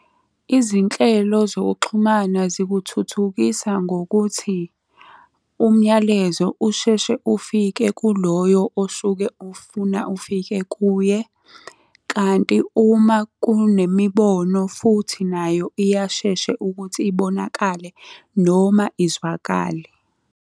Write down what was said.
Izinhlelo zokuxhumana zikuthuthukisa ngokuthi, umyalezo usheshe ufike kuloyo osuke ufuna ufike kuye. Kanti uma kunemibono futhi nayo iyasheshe ukuthi ibonakale noma izwakale.